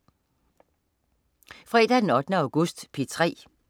Fredag den 8. august - P3: